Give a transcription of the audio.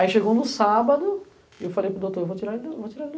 Aí chegou no sábado e eu falei para o doutor, eu vou tirar ele do, vou tirar ele do